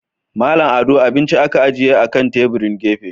Mallam Ado abinci aka ajiye akan tebirin gefe.